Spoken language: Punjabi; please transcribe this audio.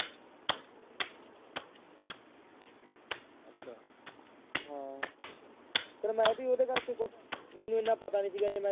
ਹਾਂ ਫਿਰ ਮੈਂ ਵੀ ਉਹਦੇ ਕਰਕੇ ਕੁਛ, ਮੈਨੂੰ ਇੰਨਾ ਪਤਾ ਨੀ ਸੀਗਾ ਜੇ ਮੈਂ